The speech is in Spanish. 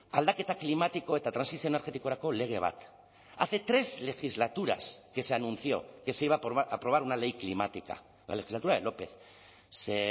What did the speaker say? aldaketa klimatiko eta trantsizio energetikorako lege bat hace tres legislaturas que se anunció que se iba a aprobar una ley climática la legislatura de lópez se